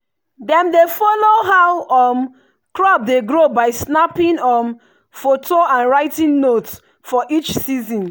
dem dey follow how um crop dey grow by snapping um photo and writing note for each season.